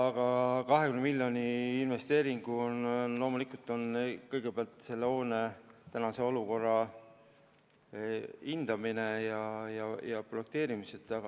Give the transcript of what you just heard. Aga 20-miljoniline investeering on loomulikult kõigepealt selle hoone tänase olukorra hindamiseks ja projekteerimiseks.